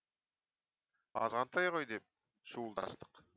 азғантай ғой деп шуылдастық